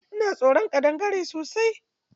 Ina tsoron ƙadangare sosai.